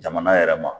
Jamana yɛrɛ ma